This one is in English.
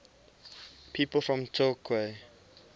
people from torquay